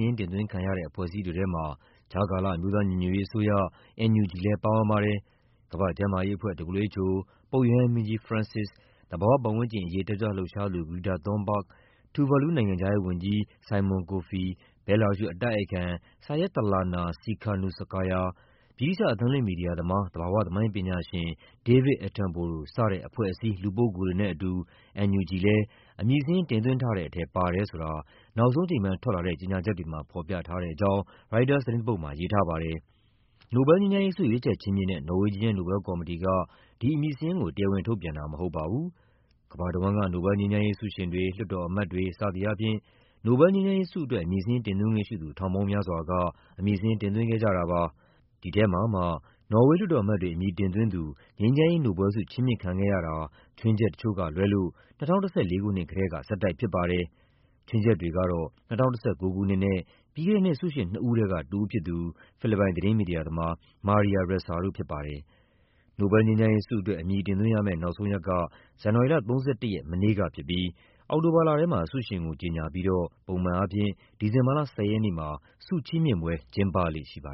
င်း တင်သွင်းခံရတဲ့ အဖွဲ့အစည်းတွေထဲမှာ ကြားကာလ အမျိုးသား ညီညွတ်ရေးအစိုးရ (NUG) လည်း ပါဝင်ပါတယ်။ ကမ္ဘာ့ကျန်းမာရေးအဖွဲ့ (WHO) ၊ ပုပ်ရဟန်းမင်းကြီး ဖရန့်စစ်စ်၊ သဘာဝပတ်ဝန်းကျင်ရေး တက်ကြွလှုပ်ရှားသူ Greta Thunberg ၊ Tuvalu နိုင်ငံခြားရေးဝန်ကြီး Simon Kofe ၊ ဘဲလာရုရှ် အတိုက်အခံ Syiatlana Tsikhanouskaya ၊ ဗြိတိသျှ အသံလွှင့်မီဒီယာသမား သဘာဝသမိုင်းပညာရှင် David Attenborough စတဲ့ အဖွဲ့အစည်း လူပုဂ္ဂိုလ်တွေနဲ့အတူ NUG လည်း အမည်စာရင်း တင်သွင်းထားတဲ့ထဲ ပါတယ်ဆိုတာ နောက်ဆုံးအချိန်ပိုင်း ထွက်လာတဲ့ ကြေညာချက်တွေမှာ ဖော်ပြထားပါတယ်။ နိုဘဲလ်ငြိမ်းချမ်းရေးဆု ရွေးချယ်ချီးမြှင့်တဲ့ နော်ဝေးဂျီးယန်း နိုဘဲလ်ကော်မတီက ဒီအမည်စာရင်းကို တရားဝင်ထုတ်ပြန်တာမဟုတ် ပါဘူး။ ကမ္ဘာတဝန်းက နိုဘဲလ်ငြိမ်းချမ်းရေးဆုရှင်တွေ၊ လွှတ်တော်အမတ်တွေ စသည်အားဖြင့် နိုဘဲလ်ငြိမ်းချမ်းရေးဆုအတွက် အမည်စာရင်းတင်သွင်းခွင့်ရှိသူ ထောင်ပေါင်းများစွာက အမည်စာရင်း တင်သွင်းခဲ့ကြတာပါ။ ဒီထဲမှာမှ နော်ဝေး လွှတ်တော် အမတ်တွေ အမည်တင်သွင်းသူ ငြိမ်းချမ်းရေးနိုဘ်လဲဆု ချီးမြှင့်ခံခဲ့ရတာ ခြွင်းချက်တချို့ကလွဲလို့ ၂၀၁၄ ခုနှစ်ကတည်းက ဆက်တိုက်ဖြစ်ပါတယ်။ ခြွင်းချက်တွေကတော့ ၂၀၁၉ ခုနှစ်နဲ့ ပြီးခဲ့တဲ့နှစ် ဆုရှင်နှစ်ဦးထဲက တဦးဖြစ်သူ ဖိလစ်ပိုင် သတင်း မီဒီယာသမား Maria Ressa တို့ဖြစ်ပါတယ်။ နိုဘဲလ်ငြိမ်းချမ်းရေးဆုအတွက် အမည်တင်သွင်းရမယ့် နောက်ဆုံးရက်က ဇန်နဝါရီလ ၃၁ ရက် မနေ့ကဖြစ်ပြီး အောက်တိုဘာလ ထဲမှာ ဆုရှင်ကို ကြေညာပြီးတော့ ပုံမှန်အားဖြင့် ဒီဇင်ဘာလ ၁၀ ရက်နေ့မှာ ဆုချီးမြှင့်ပွဲ ကျင်းပလေ့ရှိပါ